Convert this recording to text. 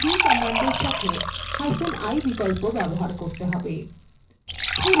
তাহলে mv command সাথেi বিকল্প ব্যবহার করতে হবে